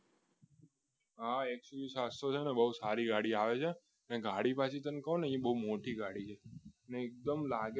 XUV સાત્સો છે અને બહુ સારી ગાડી આવે છે એ ગાડી પછી તમે કોને એ બહુ મોટી ગાડી છે અને એકદમ લાગે